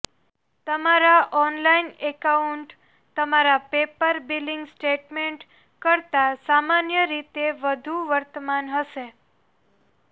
તમારા online account તમારા paper billing statement કરતાં સામાન્ય રીતે વધુ વર્તમાન હશે